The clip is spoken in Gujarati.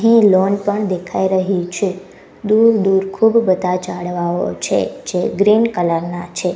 અને એક લોન પણ દેખાઈ રહી છે દૂર દૂર ખૂબ બધા ઝાડવાઓ છે જે ગ્રીન કલર ના છે.